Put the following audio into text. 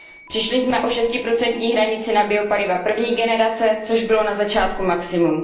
Přišli jsme o šestiprocentní hranici na biopaliva první generace, což bylo na začátku maximum.